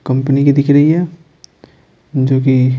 company की दिख रही है जो कि--